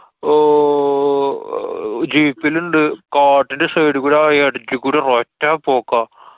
ഓ~ jeep ലിണ്ട് കാട്ടിന്‍റെ side കൂടി ആ ഇടക്ക് കൂടി ഒരൊറ്റ പോക്കാ.